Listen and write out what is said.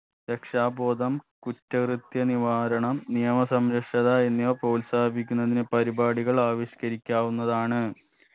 രക്ഷാ ബോധം കുറ്റകൃത്യ നിവാരണം നിയമ സംരക്ഷത എന്നിവ പ്രോത്സാഹിപ്പിക്കുന്നതിന് പരിപാടികൾ ആവിഷ്‌കാരിക്കാവുന്നതാണ്